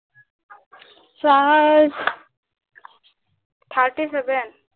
charge thirty seven